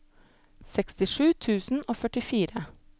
sekstisju tusen og førtifire